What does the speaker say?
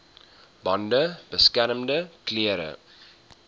bande beskermende klere